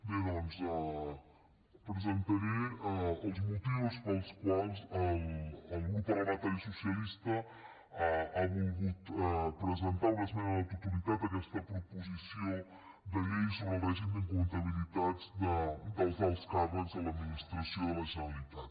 bé doncs presentaré els motius pels quals el grup parlamentari socialista ha volgut presentar una esmena a la totalitat a aquesta proposició de llei sobre el règim d’incompatibilitats dels alts càrrecs de l’administració de la generalitat